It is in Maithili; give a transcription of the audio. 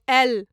एल